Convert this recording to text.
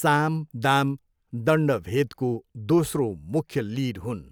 साम, दाम, दण्ड, भेदको दोस्रो मुख्य लिड हुन्।